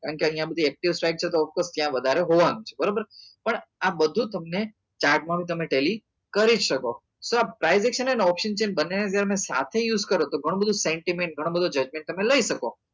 કેમ કે અહિયાં બધી active side છે તો ત્યાં વધારે હોવા નું છે બરોબર છે પણ આ બધું તમે chart માં નું તમે telly કરી શકો સો આ privation and optation છે એ બંને ને તમે સાથે use કરો તો ગણો બધો sentiment ગણો બધું judgment તમે લઇ શકો